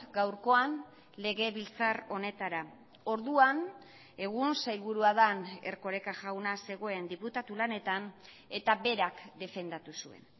gaurkoan legebiltzar honetara orduan egun sailburua den erkoreka jauna zegoen diputatu lanetan eta berak defendatu zuen